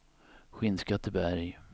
Skinnskatteberg